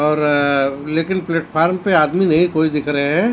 और लेकिन प्लेटफार्म पे आदमी नहीं कोई दिख रहा हैं।